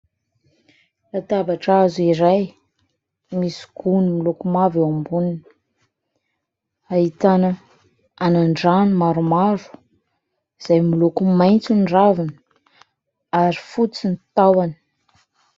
Latabatra hazo iray, misy gony miloko mavo eo amboniny. Ahitana anan-drano maromaro izay miloko maitso ny raviny ary fotsy ny tahony.